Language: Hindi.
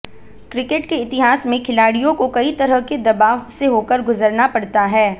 क्रिकेट के इतिहास में खिलाड़ियों को कई तरह के दबाव से होकर गुजरना पड़ता है